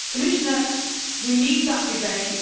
Commissioner, we need that debate.